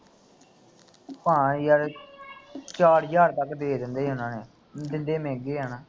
ਹਾਂ ਯਾਰ ਚਾਰ ਹਜ਼ਾਰ ਤੱਕ ਦੇ ਦਿੰਦੇ ਉਹਨਾਂ ਨੇ ਦਿੰਦੇ ਮਹਿਗੇ ਹੈਨਾ